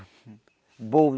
Boldo.